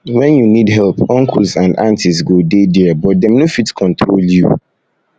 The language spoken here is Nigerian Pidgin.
when you need help uncles and aunties go dey there but dem no fit control you